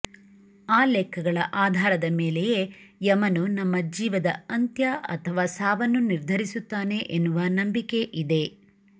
ಆ ಲೆಕ್ಕಗಳ ಆಧಾರದ ಮೇಲೆಯೇ ಯಮನು ನಮ್ಮ ಜೀವದ ಅಂತ್ಯ ಅಥವಾ ಸಾವನ್ನು ನಿರ್ಧರಿಸುತ್ತಾನೆ ಎನ್ನುವ ನಂಬಿಕೆ ಇದೆ